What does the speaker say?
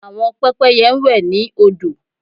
Àwọn pẹ́pẹ́yẹ ń wẹ̀ ní odò